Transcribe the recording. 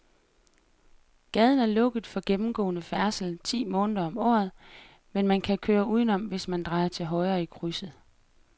Gaden er lukket for gennemgående færdsel ti måneder om året, men man kan køre udenom, hvis man drejer til højre i krydset.